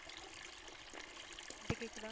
இப்போ கேக்குதா